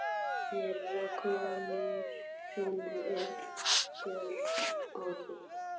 Þeirra sonur er Björn Orri.